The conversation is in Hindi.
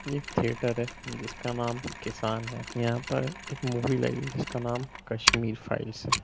ये एक थिएटर है जिसका नाम किसान है यहाँ पर एक मूवी लगी है जिसका नाम कस्मिर फाइल है।